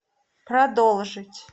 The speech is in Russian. продолжить